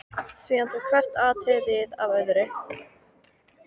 Síðan tók hvert atriðið við af öðru.